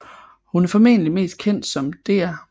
Hun er formentlig mest kendt som Dr